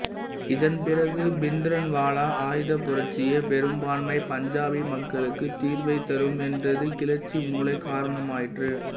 இதன்பிறகு பிந்த்ரன்வாலா ஆயுதப் புரட்சியே பெரும்பான்மை பஞ்சாபி மக்களுக்கு தீர்வைத் தரும் என்றது கிளர்ச்சி மூளக் காரணமாயிற்று